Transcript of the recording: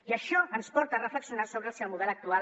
i això ens porta a reflexionar sobre si el model actual